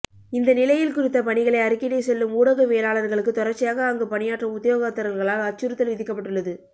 இந்தநிலையில் குறித்த பணிகளை அறிக்கையிட செல்லும் ஊடகவியலாளர்களுக்கு தொடர்ச்சியாக அங்கு பணியாற்றும் உத்தியோகத்தர்களால் அச்சுறுத்தல் விதிக்கப்பட்டுள்ளது